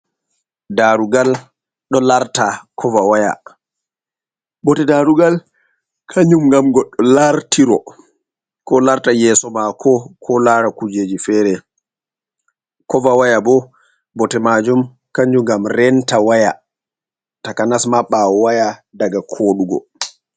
Daroolgal ɗo larta koova waya .Bote daarugal kanjum, ngam lartiro ko larta yeeso maako ko laara kujeji feere .Koova waya bo bote maajum kanjum ngam renta waya takanasma ɓaawo waya diga koɗuugo.